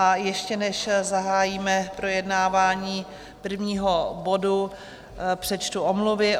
A ještě než zahájíme projednávání prvního bodu, přečtu omluvy.